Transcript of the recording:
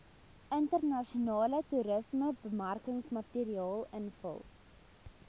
internasionale toerismebemarkingsmateriaal invul